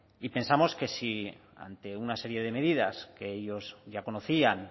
y pensamos que si ante una serie de medidas que ellos ya conocían